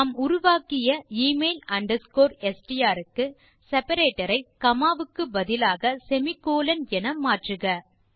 நாம் உருவாக்கிய email underscore STR க்கு செப்பரேட்டர் ஐ காமா வுக்கு பதிலாக செமிகோலன் என மாற்றவும்